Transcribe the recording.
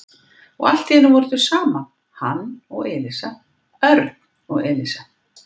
Og allt í einu voru þau saman, hann og Elísa, Örn og Elísa.